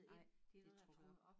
Nej det trukket op